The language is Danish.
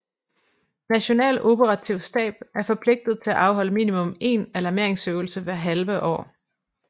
National Operativ Stab er forpligtet til at afholde minimum én alarmeringsøvelse hvert halve år